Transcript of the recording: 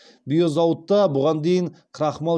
биозауытта бұған дейін крахмал